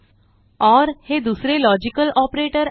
or हे दुसरे logical operator आहे